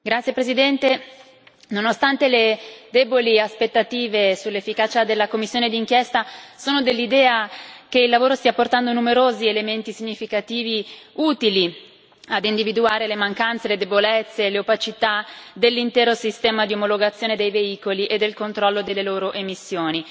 Signor Presidente, onorevoli colleghi, nonostante le deboli aspettative sull'efficacia della commissione di inchiesta, sono dell'idea che il lavoro stia portando numerosi elementi significativi utili ad individuare le mancanze, le debolezze, le opacità dell'intero sistema di omologazione dei veicoli e del controllo delle loro emissioni.